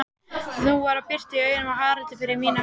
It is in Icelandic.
Nú var birta í augunum á Haraldi, fyrir mína hönd.